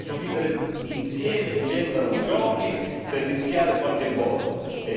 E se non ha rispetto per i valori dell'Unione europea abbia rispetto per la dignità del suo popolo.